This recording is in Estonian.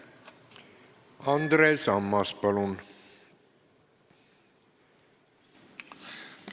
Andres Ammas, palun!